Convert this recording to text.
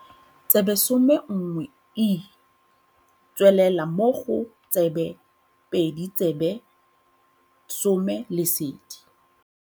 Tsebe 11E tswelela mo go tsebe 2 Tsebe 10 Lesedi.